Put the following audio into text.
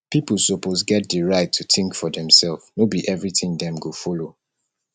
pipo suppose get di right to think for demself no be everything dem go follow